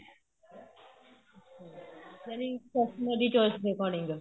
ਜਾਨੀ customer ਦੀ choice ਦੇ according